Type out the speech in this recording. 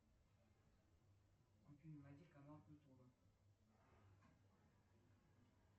афина найди канал культура